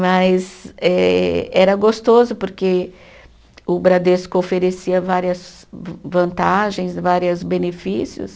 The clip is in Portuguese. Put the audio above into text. Mas eh era gostoso porque o Bradesco oferecia várias van vantagens, várias benefícios.